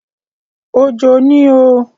Òjò ni o.